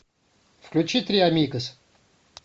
включи три амигос